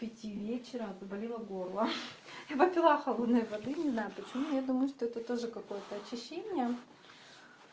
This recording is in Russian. к пяти вечера заболело горло я попила холодной воды не знаю почему я думаю что это тоже какое-то очищение